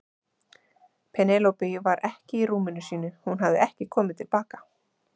Penélope var ekki í rúminu sínu, hún hafði ekki komið til baka.